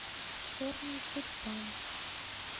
черный тюльпан